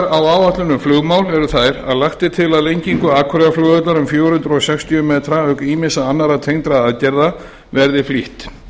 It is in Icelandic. um flugmál eru þær að lagt er til að lengingu akureyrarflugvallar um fjögur hundruð sextíu metra auk ýmissa annarra tengdra aðgerða verði flýtt